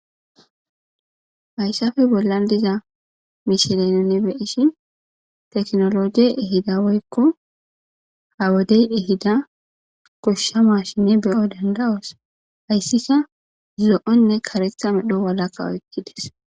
Hayssafe bollan diza mishilenenne beyishin teknologie ehida woykko ha wodey ehida koshshama shinne beyo danda7oos hayssika zo7onne karetha medho walaka oykkides.